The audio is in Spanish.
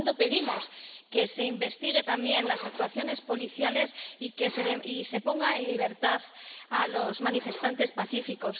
Por lo tanto, pedimos que se investiguen también las actuaciones policiales y se ponga en libertad a los manifestantes pacíficos.